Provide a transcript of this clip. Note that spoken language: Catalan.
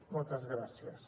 moltes gràcies